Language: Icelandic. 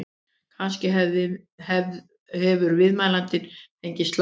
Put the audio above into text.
Kannski hefur viðmælandinn fengið slag?